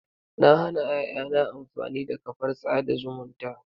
Na hana ƴaƴana amfani da kafar tsada zumunta.